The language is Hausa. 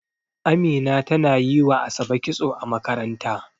Amina tana yi wa ASabe kitso a makaranta.